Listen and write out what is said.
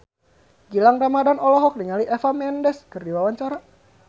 Gilang Ramadan olohok ningali Eva Mendes keur diwawancara